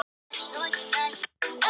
Dögun kæmi ekki að manni.